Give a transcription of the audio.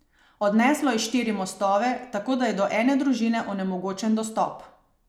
Odneslo je štiri mostove, tako da je do ene družine onemogočen dostop.